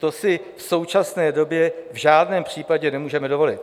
To si v současné době v žádném případě nemůžeme dovolit.